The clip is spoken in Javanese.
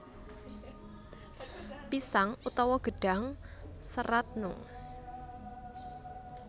Pisang utawa gedhang serat noe